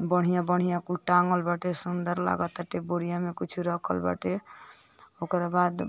बढ़िया बढ़िया कुल टाँगल बाटे सुन्दर लागतटे बोरिया में कुछ रखल बाटे ओकरे बाद